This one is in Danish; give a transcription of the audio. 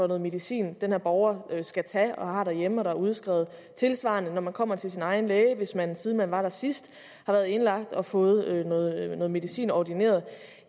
noget medicin den her borger skal tage og har derhjemme og der er udskrevet tilsvarende når man kommer til sin egen læge hvis man siden man var der sidst har været indlagt og fået noget medicin ordineret